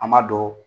An m'a dɔn